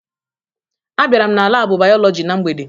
Abịara m na laabụ Bayọlọji na mgbede